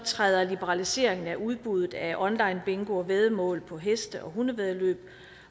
træder liberaliseringen af udbuddet af onlinebingo og væddemål på heste og hundevæddeløb